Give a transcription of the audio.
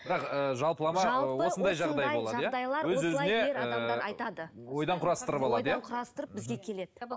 бірақ ыыы жалпылама осындай жағдай болады иә ойдан құрастырып алады иә ойдан құрастырып бізге келеді